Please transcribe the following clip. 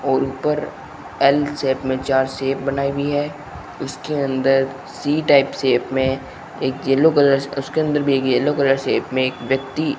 और ऊपर L shape में चार शेप बनाई हुई है उसके अंदर सी टाइप शेप में एक येलो कलर उसके अंदर भी येलो कलर शेप में व्यक्ति --